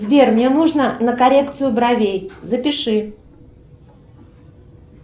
сбер мне нужно на коррекцию бровей запиши